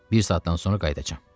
Bir saatdan sonra qayıdacam.